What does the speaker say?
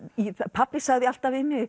pabbi sagði alltaf við mig